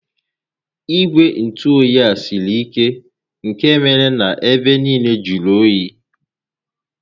Igwe ntụoyi a siri ike nkè mere na ebe nille jụrụ óyi